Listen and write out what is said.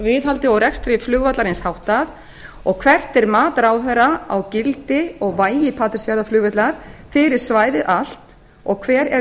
viðhaldi og rekstri vallarins háttað annað hvert er mat ráðherra á gildi og vægi patreksfjarðarflugvallar fyrir svæðið allt og hver eru